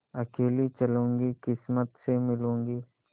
अकेली चलूँगी किस्मत से मिलूँगी